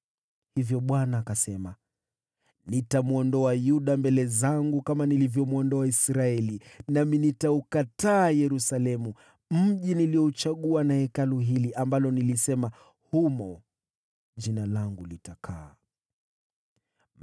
Hivyo Bwana akasema, “Nitamwondoa Yuda mbele zangu kama nilivyomwondoa Israeli, nami nitaukataa Yerusalemu, mji niliouchagua, na Hekalu hili, ambalo nilisema, ‘Jina langu litakaa humo.’ ”